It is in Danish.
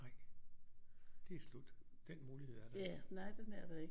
Ej det er slut den mulighed er der ikke